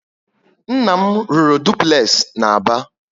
Nna m rụrụ dupulexi na Aba